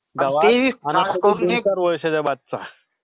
is not Clear